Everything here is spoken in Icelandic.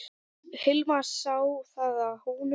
Hilmar sá það á honum.